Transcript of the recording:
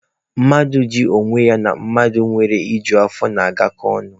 Mmadụ iji onwe ya na ihe mmadụ nwere i ju ya afọ na-agakọ ọnụ.